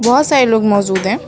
बहोत सारे लोग मौजूद हैं।